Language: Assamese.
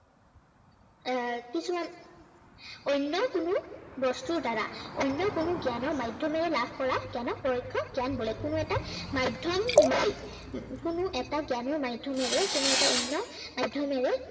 এৰ কিছুমান অন্য় কোনো বস্তুৰ দ্বাৰা, অন্য় কোনো জ্ঞানৰ মাধ্য়মেৰে লাভ কৰা জ্ঞানক পৰোক্ষ জ্ঞান বোলে। কোনো এটা মাধ্য়ম লৈ কোনো এটা জ্ঞানৰ মাধ্য়মেৰে কোনো এটা অন্য় মাধ্য়মেৰে